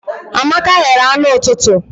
Amaka ghere anụ ụtụtụ.